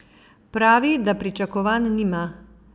Pravi, da pričakovanj nima.